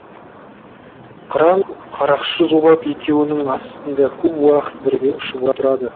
қыран қарақшы зулап екеуінің астында көп уақыт бірге ұшып отырады